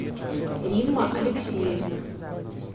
римма алексеевна